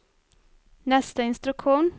nästa instruktion